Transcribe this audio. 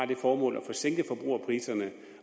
det formål at få sænket forbrugerpriserne